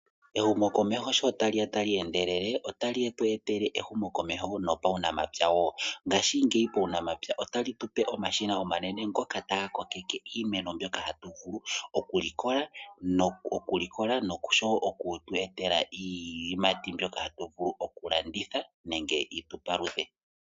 Ehumokomeho shi tali ya tali endelele otali tu etele ehumokomeho nomuunamapya wo, ngashiingeyi puunamapya otali tu pe omashina omanene ngoka taga kokeke iimeno mbyoka hatu vulu okulikola noshowo oku tu etela iiyimati mbyoka hatu vulu okulanditha nenge yi tu paluthe.